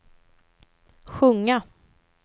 sjunga